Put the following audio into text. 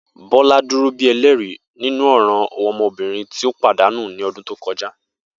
Bola duro bi ẹlẹri ninu ọran ọmọbirin ti o padanu ni ọdun to kọja